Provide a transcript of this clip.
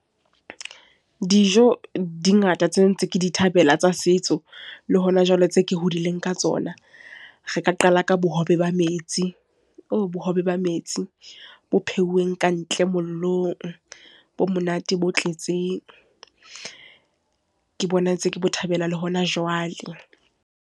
Dijo, di ngata tsena ntse ke di thabela tsa setso. Le hona jwale, tse ke hodileng ka tsona. Re ka qala ka bohobe ba metsi. Bohobe ba metsi bo pheuweng ka ntle mollong, bo monate bo tletseng. Ke bona ntseng ke bo thabela le hona jwale.